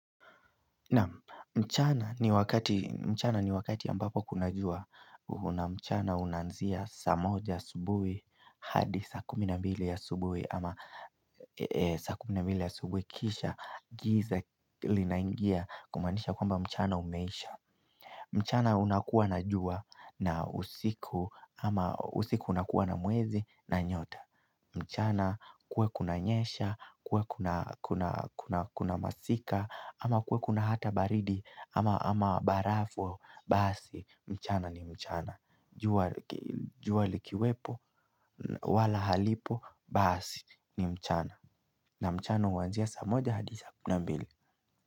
Naam mchana ni wakati mchana ni wakati ambapo kuna jua una mchana unanzia saa moja asubuhi hadi saa kuminambili ya asubuhi ama saa kuminambili ya asubuhi kisha giza linaingia kumanisha kwamba mchana umeisha mchana unakuwa na jua na usiku ama usiku unakuwa na mwezi na nyota mchana kuwe kuna nyesha, kuwe kunaa kunaa kuna masika, ama kuwe kuna hata baridi ama barafu, basi, mchana ni mchana Juwla likiwepo, wala halipo, basi, ni mchana na mchana uanzia saa moja hadi saa kumi na mbili.